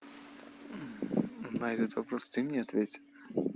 на этот вопрос ты мне ответь